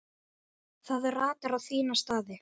Það ratar á sína staði.